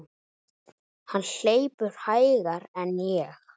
Hann hleypur hægar en ég.